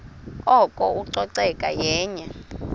oko ucoceko yenye